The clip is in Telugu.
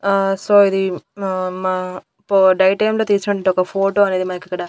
ఆ సో ఇది మ మ పో డే టైమ్ లో తీసినటువంటి ఒక ఫోటో అనేది మనకిక్కడ.